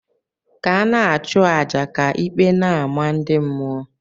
ka ana achu aja, ka ikpe n' amah ndi mmuo.